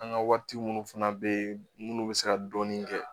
An ka waati minnu fana bɛ minnu bɛ se ka dɔɔnin kɛ